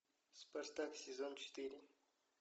спартак сезон четыре